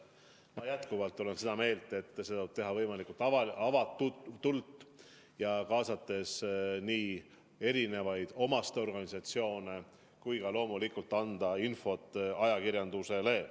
Ma olen jätkuvalt ka seda meelt, et seda tuleb teha võimalikult avatult, kaasates ka erinevaid omaste organisatsioone, ja loomulikult tuleb anda infot ajakirjandusele.